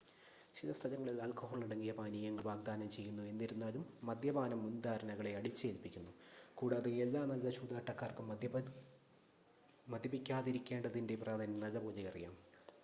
ചില സ്ഥലങ്ങളിൽ ആൽക്കഹോളടങ്ങിയ പാനീയങ്ങൾ വാഗ്ദാനം ചെയ്യുന്നു എനിരുന്നാലും മദ്യപാനം മുൻധാരണകളെ അടിച്ചേൽപ്പിക്കുന്നു കൂടാതെ എല്ലാ നല്ല ചൂതാട്ടക്കാർക്കും മദ്യപിക്കാതിരികേണ്ടതിൻ്റെ പ്രാധാന്യം നല്ലതുപോലെ അറിയാം